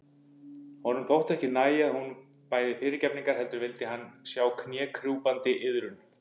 Honum þótti ekki nægja að hún bæði fyrirgefningar heldur vildi hann sjá knékrjúpandi iðrun.